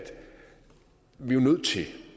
vi jo